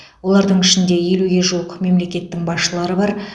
олардың ішінде елуге жуық мемлекеттің басшылары бар